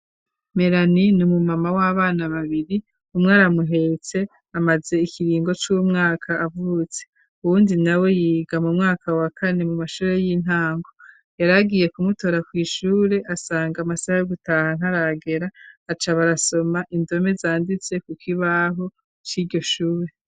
Melani numu mama w'abana babiri umwe aramuhetse amaze ikiringo c'umwaka avutse uwundi na we yiga mu mwaka wa kane mu mashure y'intango yaragiye kumutora kw'ishure asanga amasaha yo gutaha ntaragera acaba arasoma indome zanditse ku kibaho cy'iryo shure.